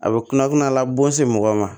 A bɛ kunnafoniya labon se mɔgɔ ma